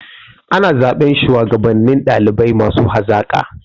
Ana zaɓan shuwagabannin ɗalibai masu hazaƙa.